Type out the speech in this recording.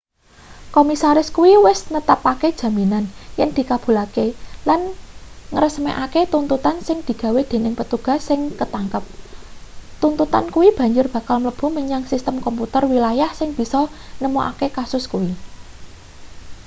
komisaris kuwi wis netepake jaminan yen dikabulke lan ngresmekake tuntutan sing digawe dening petugas sing katangkep tuntutan kuwi banjur bakal mlebu menyang sistem komputer wilayah sing bisa nemokake kasus kuwi